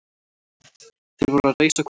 Þeir voru að reisa kofa.